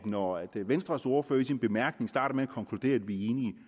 når venstres ordfører i sin bemærkning starter med at konkludere at vi er enige